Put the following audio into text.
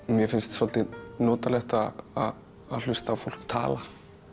mér finnst svolítið notalegt að hlusta á fólk tala